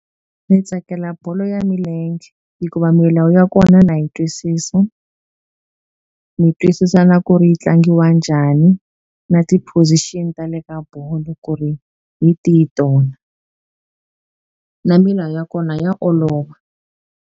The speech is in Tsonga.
Ni tsakela bolo ya milenge hikuva milawu ya kona na yi ntwisisa ni twisisa na ku ri yi tlangiwa njhani na ti-position tale ka bolo ku ri hi tihi tona na milawu ya kona ya olova.